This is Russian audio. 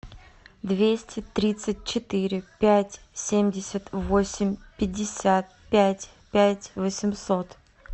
двести тридцать четыре пять семьдесят восемь пятьдесят пять пять восемьсот